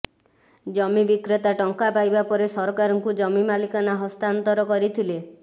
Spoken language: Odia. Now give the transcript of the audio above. ଜମି ବିକ୍ରେତା ଟଙ୍କା ପାଇବା ପରେ ସରକାରଙ୍କୁ ଜମି ମାଲିକାନା ହସ୍ତାନ୍ତର କରିଥିଲେ